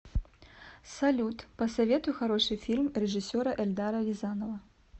салют посоветуй хороший фильм режиссера эльдара рязанова